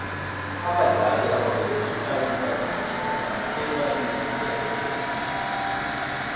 abadlali ababeregisa iindakamizwa bathathelwa iinyathelo ezibudisi